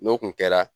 N'o kun kɛra